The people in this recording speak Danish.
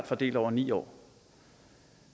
fordelt over ni år